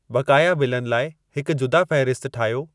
बक़ाया बिलनि लाइ हिक जुदा फ़हिरिस्त ठाहियो